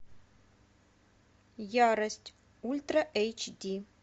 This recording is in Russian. ярость ультра эйч ди